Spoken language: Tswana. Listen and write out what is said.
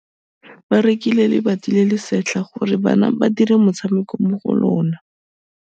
Ba rekile lebati le le setlha gore bana ba dire motshameko mo go lona.